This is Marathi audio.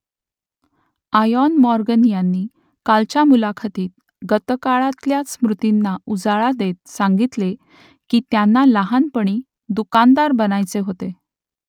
आयॉन मॉर्गन यांनी कालच्या मुलाखतीत गतकाळातल्या स्मृतींना उजाळा देत सांगितले की त्यांना लहानपणी दुकानदार बनायचे होते